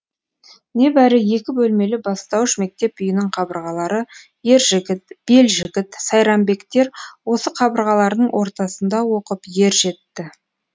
небәрі екі бөлмелі бастауыш мектеп үйінің қабырғалары ержігіт белжігіт сайранбектер осы қабырғалардың ортасында оқып ер жетті